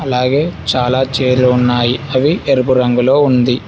అలాగే చాలా చేరున్నాయి అవి ఎరుపు రంగులో ఉంది.